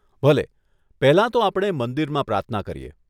ભલે, પહેલાં તો આપણે મંદિરમાં પ્રાર્થના કરીએ.